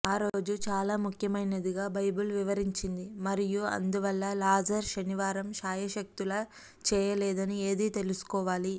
ఆ రోజు చాలా ముఖ్యమైనదిగా బైబిలు వివరించింది మరియు అందువల్ల లాజరు శనివారం శాయశక్తులా చేయలేదని ఏది తెలుసుకోవాలి